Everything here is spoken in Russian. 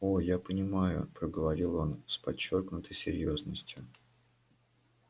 о я понимаю проговорил он с подчёркнутой серьёзностью